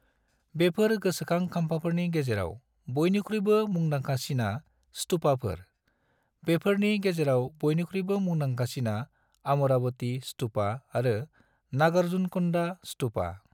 बेफोर गोसोखां खाम्फाफोरनि गेजेराव बयनिख्रुयबो मुंदांखासिनास्तूपाफोर, बेसोरनि गेजेराव बयनिख्रुयबो मुंदांखासिना अमरावती स्तूपा आरो नागार्जुनकोंडा स्तूपा।